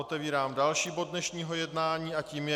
Otevírám další bod dnešního jednání a tím je